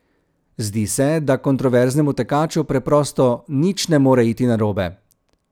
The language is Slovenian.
Zdi se, da kontroverznemu tekaču preprosto nič ne more iti narobe.